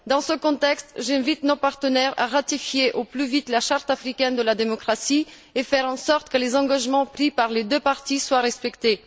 Dans ce contexte, j'invite nos partenaires à ratifier au plus vite la Charte africaine de la démocratie et à faire en sorte que les engagements pris par les deux parties soient respectés.